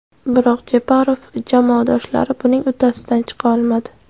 Biroq Jeparov jamoadoshlari buning uddasidan chiqa olmadi.